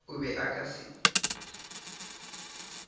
o be a ka se